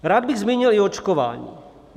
Rád bych zmínil i očkování.